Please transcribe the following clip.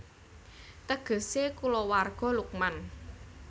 Tegesé Kulawarga Luqman